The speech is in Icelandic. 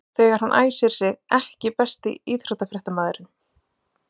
þegar hann æsir sig EKKI besti íþróttafréttamaðurinn?